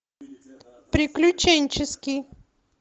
приключенческий